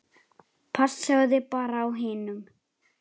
Passaðu þig bara á hinum.